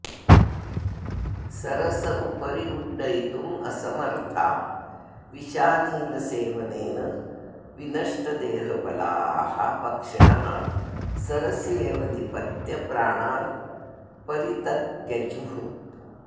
सरस उपरि उड्डयितुमसमर्था विषानिलसेवनेन विनष्टदेहबलाः पक्षिणः सरस्येव निपत्य प्राणान् परितत्यजुः